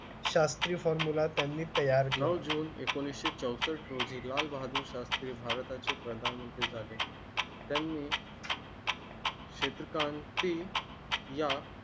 Shastri formulae त्यांनी तयार. नऊ जून एकोणीसशे चौसष्ट रोजी लाल बहादुर शास्त्री भारता चे प्रधानमंत्री झाले. त्यांनी. क्षेत्र कांती या.